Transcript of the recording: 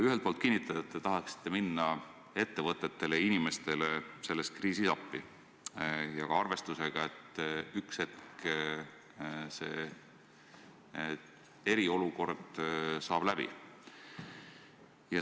Ühelt poolt te kinnitate, et tahate selles kriisis minna ettevõtetele ja inimestele appi, seda arvestusega, et ühele hetkel saab eriolukord läbi.